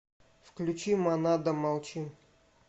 включи монада молчим